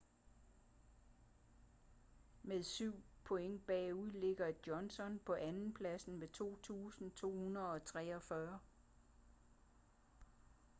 med syv point bagude ligger johnson på andenpladsen med 2.243